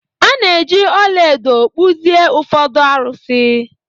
A na-eji ọla edo kpụzie ụfọdụ arụsị.